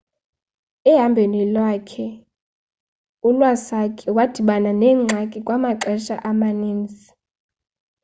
ehambhweni lwakhe u-iwasaki wadibana neengxaki kwamaxesha amaninzi